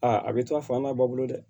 Aa a bɛ to a fa n'a ba bolo dɛ